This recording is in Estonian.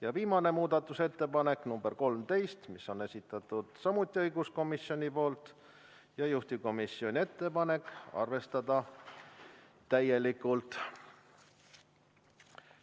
Ja viimane muudatusettepanek, nr 13, selle on samuti esitanud õiguskomisjon, juhtivkomisjoni ettepanek: arvestada täielikult.